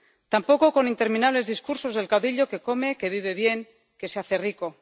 Tampoco con interminables discursos del caudillo, que come, que vive bien, que se hace rico.